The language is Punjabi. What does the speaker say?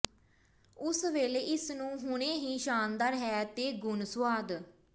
ਉਸੇ ਵੇਲੇ ਇਸ ਨੂੰ ਹੁਣੇ ਹੀ ਸ਼ਾਨਦਾਰ ਹੈ ਤੇ ਗੁਣ ਸੁਆਦ